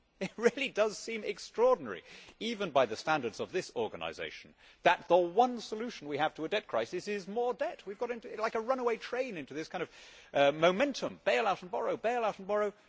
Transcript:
It really does seem extraordinary even by the standards of this organisation that the one solution we have to a debt crisis is more debt. We have got like a runaway train into this kind of momentum bailout and borrow, bailout and borrow.